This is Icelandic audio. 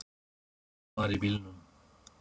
Einn var í bílnum